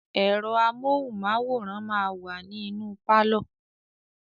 Ẹ̀rọ amóhùnmáwòrán máa wa ní inú pálọ̀.